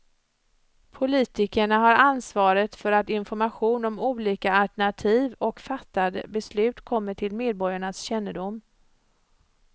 Politikerna har ansvaret för att information om olika alternativ och fattade beslut kommer till medborgarnas kännedom.